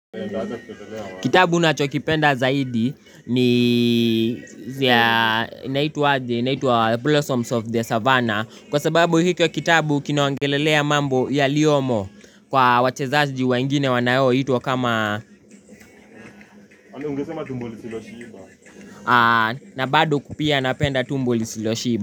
Kitabu nachokipenda Zaidi ni inaitwa Blossoms of the Savanna Kwa sababu hikyo kitabu kinaongelelea mambo yaliyomo kwa wachezaji wengine wanaoitwa kama Ungesema tumbo Lisiloshiba na bado pia napenda tumbo Lisiloshiba.